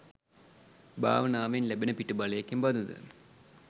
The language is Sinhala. භාවනාවෙන් ලැබෙන පිටුබලය කෙබඳුද?